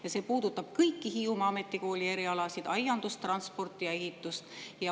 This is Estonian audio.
Ja see puudutab kõiki Hiiumaa Ametikooli erialasid: aiandust, transporti ja ehitust.